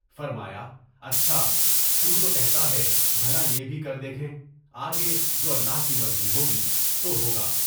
فرمایا، اچھا! تو جو کہتا ہے، بھلا یہ بھی کر کے دیکھیں۔ آگے جو اللہ کی مرضی ہوگی، سو ہوگا۔